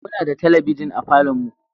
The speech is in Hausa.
Muna da talabijin a falon mu